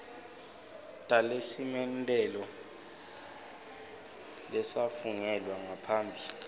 talesimemetelo lesafungelwa ngaphambi